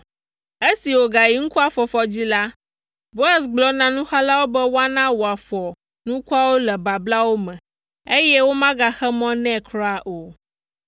Esi wògayi nukua fɔfɔ dzi la, Boaz gblɔ na nuxalawo be woana wòafɔ nukuawo le bablawo me, eye womegaxe mɔ nɛ kura o.